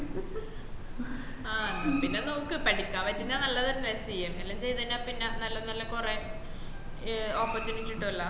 ആഹ് എന്നാപ്പിന്നെ നോക്ക് പടിക്ക പറ്റുന്ന നല്ലല്ലേ CMA എല്ലം ചെയ്ത് കഴിഞ്ഞപിന്ന നല്ല നല്ല കൊറേ ഏഹ് oppertunity കിട്ടുവല്ലോ